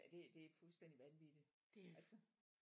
Ja det det fuldstændig vanvittigt altså